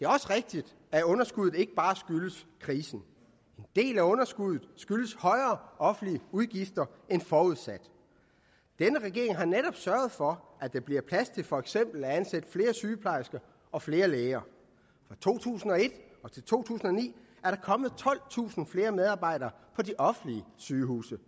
også rigtigt at underskuddet ikke bare skyldes krisen en del af underskuddet skyldes højere offentlige udgifter end forudsat denne regering har netop sørget for at der bliver plads til for eksempel at ansætte flere sygeplejersker og flere læger fra to tusind og et til to tusind og ni er der kommet tolvtusind flere medarbejdere på de offentlige sygehuse